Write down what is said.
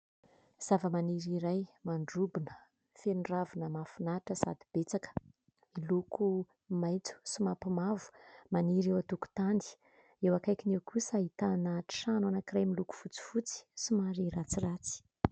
Zava-maniry iray mandrobona, feno ravina mahafinaritra sady betsaka, miloko maitso sy manopy mavo, maniry eo antokotany. Eo akaikiny eo kosa ahitana trano anankiray miloko fotsifotsy somary ratsiratsy.